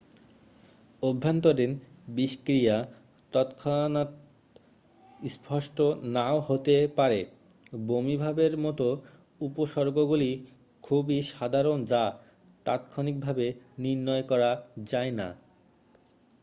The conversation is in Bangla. অভ্যন্তরীণ বিষক্রিয়া তৎক্ষণাত স্পষ্ট নাও হতে পারে বমিভাবের মতো উপসর্গগুলি খুবই সাধারণ যা তাৎক্ষণিকভাবে নির্ণয় করা যায় না